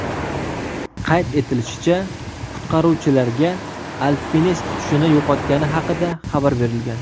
Qayd etilishicha, qutqaruvchilarga alpinist hushini yo‘qotgani haqida xabar berilgan.